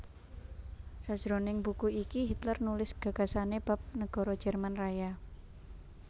Sajroning buku iki Hitler nulis gagasané bab negara Jerman Raya